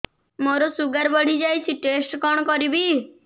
ମୋର ଶୁଗାର ବଢିଯାଇଛି ଟେଷ୍ଟ କଣ କରିବି